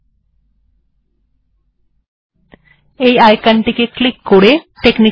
ঠিকআছে আইকন টি ডেস্কটপ এ আছে